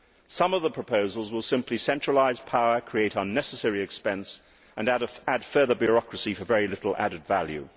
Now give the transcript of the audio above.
Some of the proposals will simply centralise power, create unnecessary expense and add further bureaucracy for very little added value.